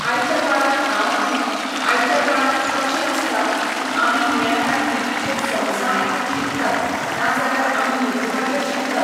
आयच्या काळांत हांव हें, आयच्या काळांत कशें आसता की आमी हें आतां टी वीचेर सोंग्सा आयकून शिकतात, ना जाल्यार आमी यूट्यूबाचेर शिकतात.